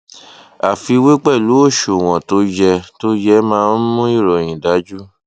àfiwé pẹlú òṣùwọn tó yẹ tó yẹ máa ń mú ìròyìn dájú